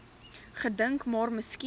gedink maar miskien